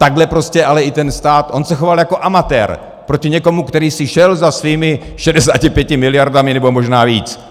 Takhle prostě ale i ten stát, on se choval jako amatér proti někomu, který si šel za svými 65 miliardami, nebo možná víc.